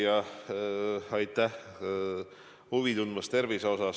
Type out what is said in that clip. Hea küsija, aitäh, et minu tervise vastu huvi tunnete!